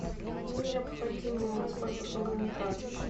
мне необходимо воспользоваться услугами прачечной